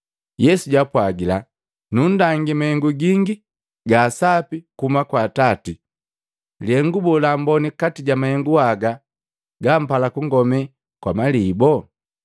Yesu jwaapwagila, “Nunndangi mahengu gingi gaasapi kuhuma kwa Atati. Lihengu boo lamboni kati ja mahengu haga gampala kungome kwa maliboo?”